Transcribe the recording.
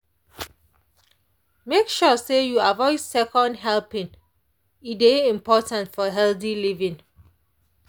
make sure say you avoid second helpings e dey important for healthy living.